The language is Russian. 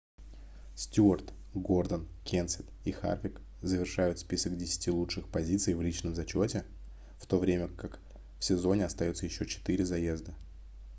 стюарт гордон кенсет и харвик завершают список десяти лучших позиций в личном зачёте в то время как в сезоне остаётся ещё 4 заезда